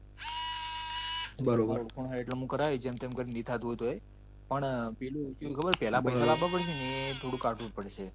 એ તો મુ તને કરાવીસ જેમતેમ કરીને ની થતું હોય તો પણ પેલા પૈસા લાવવા પડશે એ થોડું કાઠું પડશે.